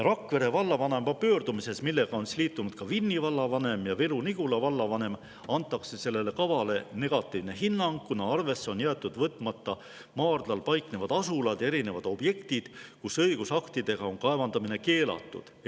Rakvere vallavanema pöördumises, millega on liitunud ka Vinni vallavanem ja Viru-Nigula vallavanem, on antud sellele kavale negatiivne hinnang, kuna on jäetud arvesse võtmata maardlal paiknevad asulad ja erinevad objektid, kus õigusaktide alusel on kaevandamine keelatud.